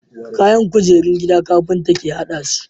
Kayan kujerun gida carpinta ke hadasu